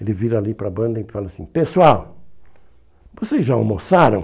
Ele vira ali para a banda e fala assim, pessoal, vocês já almoçaram?